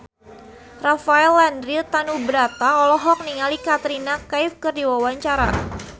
Rafael Landry Tanubrata olohok ningali Katrina Kaif keur diwawancara